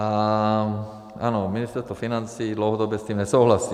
A ano, Ministerstvo financí dlouhodobě s tím nesouhlasí.